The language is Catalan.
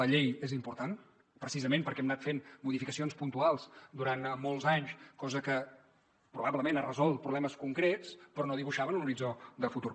la llei és important precisament perquè hem anat fent modificacions puntuals durant molts anys cosa que probablement ha resolt problemes concrets però no dibuixaven un horitzó de futur